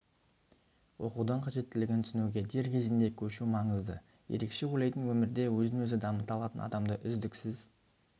оқудың қажеттілігін түсінуге дер кезінде көшу маңызды ерекше ойлайтын өмірде өзін-өзі дамыта алатын адамды үздіксіз